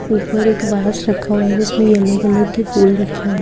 ऊपर एक बास रखा हुआ हे उसमे येलो कलर के फुल हैं।